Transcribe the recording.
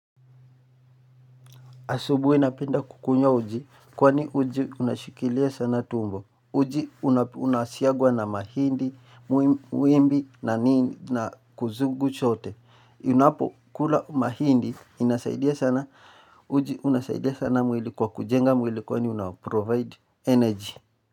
Asubuhi napenda kukunya uji. Kwani uji una shikilia sana tumbo. Uji unasiagwa na mahindi, wimbi na nini na kuzugu chote. Unapokula mahindi inasaidia sana. Uji unasaidia sana mwili kwa kujenga mwili kwani una provide energy.